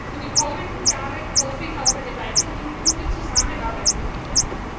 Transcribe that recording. Für die kommenden Jahre hoffe ich auf eine weiterhin gute Zusammenarbeit mit Ihnen.